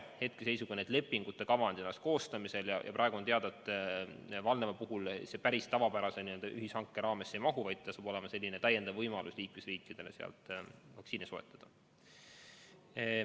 Hetkeseisuga on lepingute kavandid alles koostamisel ja praegu on teada, et Valneva puhul see päris tavapärase ühishanke raamesse ei mahu, vaid see saab olema liikmesriikide täiendav võimalus sealt vaktsiini soetada.